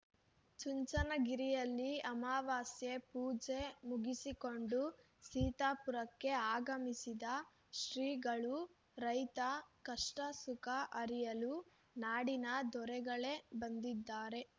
ಚುಂಚನಗಿರಿಯಲ್ಲಿ ಅಮವಾಸ್ಯೆ ಪೂಜೆ ಮುಗಿಸಿಕೊಂಡು ಸೀತಾಪುರಕ್ಕೆ ಆಗಮಿಸಿದ ಶ್ರೀಗಳು ರೈತ ಕಷ್ಟಸುಖ ಅರಿಯಲು ನಾಡಿನ ದೊರೆಗಳೇ ಬಂದಿದ್ದಾರೆ